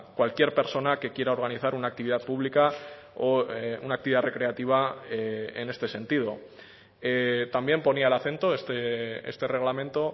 cualquier persona que quiera organizar una actividad pública o una actividad recreativa en este sentido también ponía el acento este reglamento